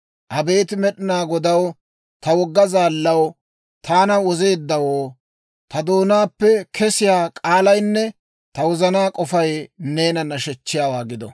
Abeet Med'inaa Godaw, ta wogga zaallaw, taana wozeeddawoo, Ta doonaappe kesiyaa k'aalaynne ta wozanaa k'ofay neena nashechchiyaawaa gido.